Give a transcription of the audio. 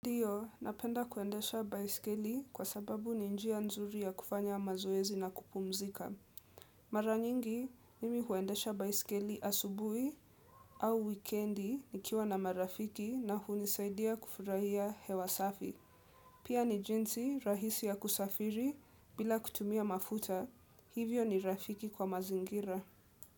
Ndio, napenda kuendesha baiskeli kwa sababu ni njia nzuri ya kufanya mazoezi na kupumzika. Mara nyingi, mimi huendesha baiskeli asubuhi au wikendi nikiwa na marafiki na hunisaidia kufurahia hewa safi. Pia ni jinsi rahisi ya kusafiri bila kutumia mafuta, hivyo ni rafiki kwa mazingira.